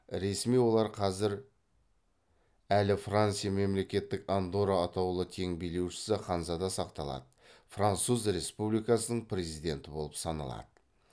ресми олар қазір әлі франция мемлекет андорра атаулы тең билеушісі ханзада сақталады француз республикасының президенті болып саналады